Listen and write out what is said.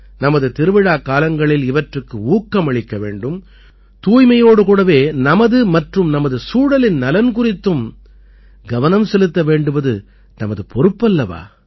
நமது திருவிழாக்காலங்களில் இவற்றுக்கு ஊக்கமளிக்க வேண்டும் தூய்மையோடு கூடவே நமது மற்றும் நமது சுழலின் நலன் குறித்தும் கவனம் செலுத்த வேண்டுவது நமது பொறுப்பல்லவா